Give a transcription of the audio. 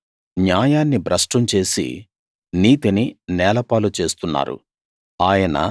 వాళ్ళు న్యాయాన్ని భ్రష్టం చేసి నీతిని నేలపాలు చేస్తున్నారు